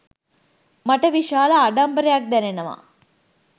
මට විශාල ආඩම්බරයක් දැනෙනවා